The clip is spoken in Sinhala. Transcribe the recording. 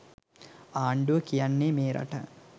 ආණ්ඩුව කියන්නේ මේ රට